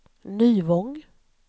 Nyvång